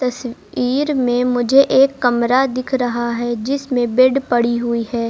स्वीर में मुझे एक कमरा दिख रहा है जिसमें बेड पड़ी हुई है।